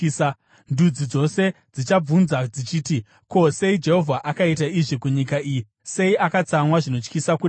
Ndudzi dzose dzichabvunza dzichiti, “Ko, sei Jehovha akaita izvi kunyika iyi. Sei akatsamwa zvinotyisa kudai?”